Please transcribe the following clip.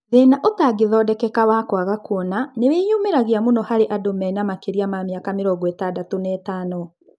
Thĩna ũtangĩthondekeka wa kwaga kũona nĩwĩyumĩragia mũno harĩ andũ me makĩria ma mĩaka mĩrongo ĩtandatũ na ĩtano